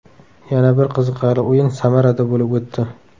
Yana bir qiziqarli o‘yin Samarada bo‘lib o‘tdi.